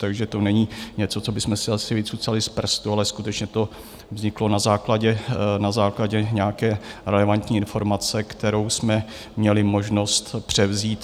Takže to není něco, co bychom si asi vycucali z prstu, ale skutečně to vzniklo na základě nějaké relevantní informace, kterou jsme měli možnost převzít.